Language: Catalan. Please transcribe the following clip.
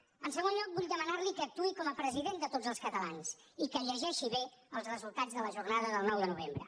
en segon lloc vull demanar li que actuï com a president de tots els catalans i que llegeixi bé els resultats de la jornada del nou de novembre